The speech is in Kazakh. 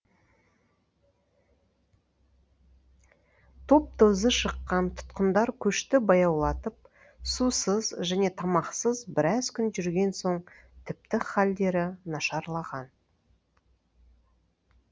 топ тозы шыққан тұтқындар көшті баяулатып сусыз және тамақсыз біраз күн жүрген соң тіпті халдері нашарлаған